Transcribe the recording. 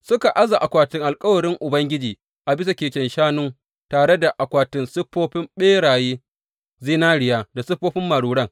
Suka aza akwatin alkawarin Ubangiji a bisa keken shanun tare da akwatin siffofin ɓerayen zinariya da siffofin maruran.